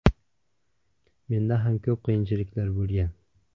Menda ham ko‘p qiyinchiliklar bo‘lgan.